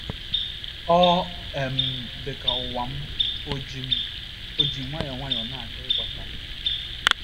Ọ um dị m ka ụwa m ò ji m ò ji nwayọọ nwayọọ na - achọ ịghasasị.